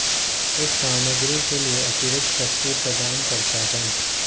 इस सामग्री के लिए अतिरिक्त शक्ति प्रदान करता है